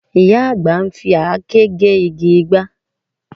Ìyá àgbà ń fi àáké gé igi ìgbá